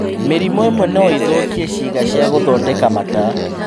Mĩrimũ ĩmwe noĩthũkie ciĩga cia gũthondeka mata